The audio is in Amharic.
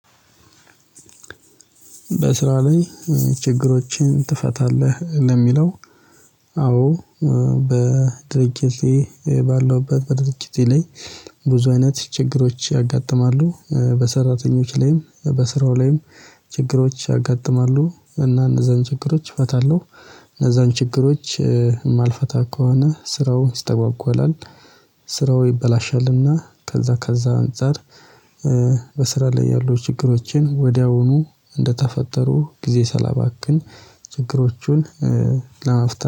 በስራ ላይ ችግሮችን ትፈታለህ ለሚለው አዎ በድርጅቴ ባለውበት በድርጅቴ ላይ ብዙ አይነት ችግሮች ያጋጥማሉ በሰራተኞች ላይም በስራው ላይም ችግሮች ያጋጥማሉ እና እነዛን ችግሮች እፈታለሁ። እነዛን ችግሮች የማልፈታ ከሆነ ስራውን ይስተጓጓላል ይበላሻልና ከዛ ከዛ አንፃር በስራ ላይ ያሉ ችግሮችን ወዲያውኑ እንደተፈጠሩ ጊዜ ሳላባክን ችግሮቹን ለመፍታት ለመፍታት